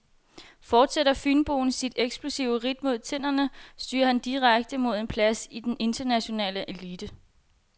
Fortsætter fynboen sit eksplosive ridt mod tinderne, styrer han direkte mod en plads i den internationale elite.